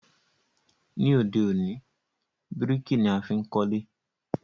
Ní òde òní, bíríkì ni a fi n kólé